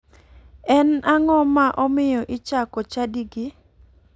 En ang'o ma omiyo ichako chadigi?